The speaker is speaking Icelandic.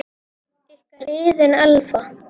Ykkar, Iðunn Elfa.